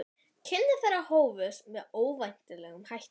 Kynni þeirra hófust með óvenjulegum hætti.